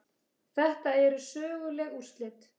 Þetta eru söguleg úrslit.